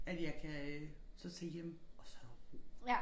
At jeg kan øh så tage hjem og så der ro